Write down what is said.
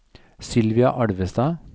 Sylvia Alvestad